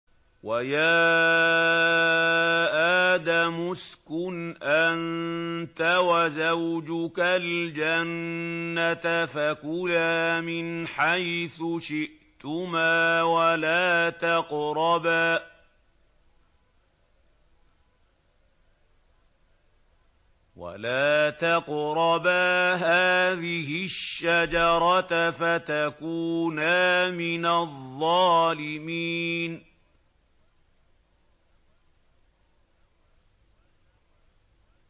وَيَا آدَمُ اسْكُنْ أَنتَ وَزَوْجُكَ الْجَنَّةَ فَكُلَا مِنْ حَيْثُ شِئْتُمَا وَلَا تَقْرَبَا هَٰذِهِ الشَّجَرَةَ فَتَكُونَا مِنَ الظَّالِمِينَ